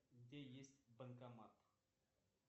где есть банкомат